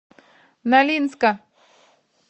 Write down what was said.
нолинска